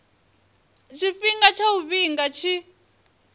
tshifhinga tsha u vhiga tshi